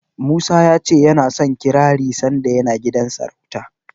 Musa ya ce ya so kirari sanda yana gidan sarauta.